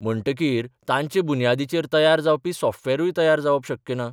म्हणटकीर तांचे बुन्यादीचेर तयार जावपी सॉफ्टवॅरूय तयार जावप शक्य ना.